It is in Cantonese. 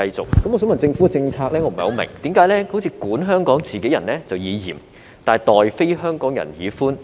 我不太明白，想問政府的政策為何好像管香港自己人就以嚴，待非香港人則以寬？